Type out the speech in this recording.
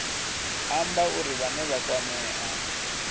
amba uri vhane vha kwamea